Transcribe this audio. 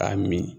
A mi